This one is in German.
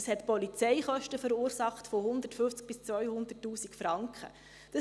Das hat Polizeikosten von 150 000 bis 200 000 Franken verursacht.